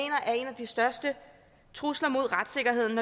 de største trusler mod retssikkerheden